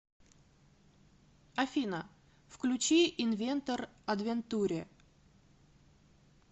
афина включи инвентор адвентуре